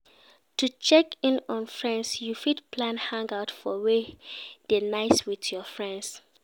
To check in on friends you fit plan hangout for where de nice with your friends